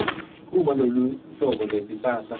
uma loluhlobo lwesihlahla